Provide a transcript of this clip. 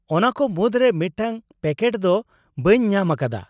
ᱚᱱᱟ ᱠᱚ ᱢᱩᱫᱨᱮ ᱢᱤᱫᱴᱟᱝ ᱯᱮᱠᱮᱴ ᱫᱚ ᱵᱟᱹᱧ ᱧᱟᱢ ᱟᱠᱟᱫᱟ ᱾